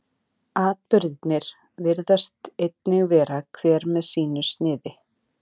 Atburðirnir virðist einnig vera hver með sínu sniði.